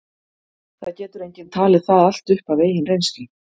það getur enginn talið það allt upp af eigin reynslu